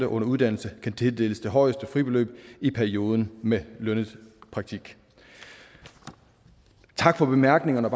under uddannelse kan tildeles det højeste fribeløb i perioden med lønnet praktik tak for bemærkningerne